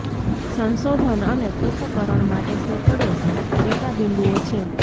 સંશોધન અને પૃથક્કરણ માટે સેંકડો ડેટા બિંદુઓ છે